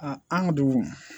an ka dugu